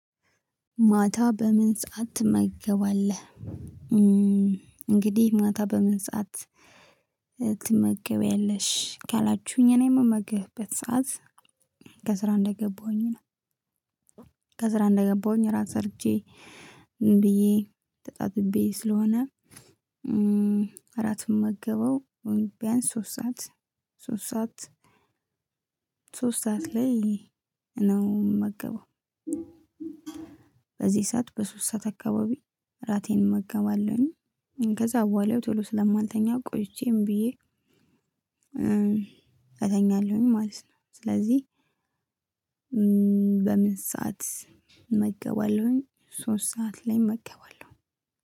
ማታ በምን ሰዓት ትመገባለህ እንግዲህ ማታ በምን ሰዓት ትመገበያለሽ? ካላችሁኝ እኔ የምመገብበት ሰዓት ከስራ እንደገባሁኝ ስራን ሰርቼ ምን ብዬ ተጣጥቤ ስለሆነ እራት የምመገበው ቢያንስ ሶስት ሰዓት ሶስት ሰዓት ሶስት ሰዓት ላይ ነው የምመገበው። በዚህ ሰዓት በሶስት ሰዓት አካባቢ እራቴን እመገባለሁኝ። ከዛ በኋላው ቶሎ ስለማልተኛ ቆይቼ ምን ብዬ እተኛለሁኝ ማለት ነው። ስለዚህ በምን ሰዓት እመገባለሁኝ? ሶስት ሰዓት ላይ እመገባለሁኝ።